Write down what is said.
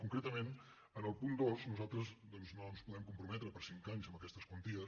concretament en el punt dos nosal·tres no ens podem comprometre per cinc anys amb aquestes quanties